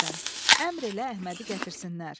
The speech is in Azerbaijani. Əmr elə Əhmədi gətirsinlər.